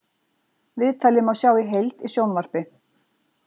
Viðtalið má sjá í heild í sjónvarp